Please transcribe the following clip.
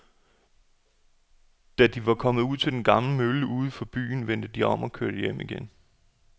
Da de var kommet ud til den gamle mølle uden for byen, vendte de om og kørte hjem igen.